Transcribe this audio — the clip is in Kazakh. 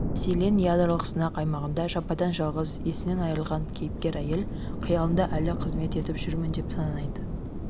мәселен ядролық сынақ аймағында жападан-жалғыз есінен айрылған кейіпкер-әйел қиялында әлі қызмет етіп жүрмін деп санайды